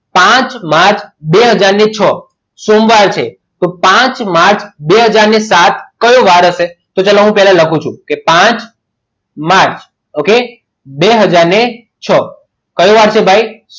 પાંચ માર્ચ બે હાજર ને છો સોમવાર છે તો પાંચ માર્ચ બે હાજર ને સાત કયો વાર હશે તો ચાલો હું પહેલા લખું છું કે પાંચ માર્ચ okay બે હાજર ને છો કયો વાર છે ભાઈ